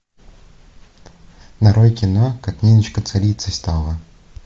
нарой кино как ниночка царицей стала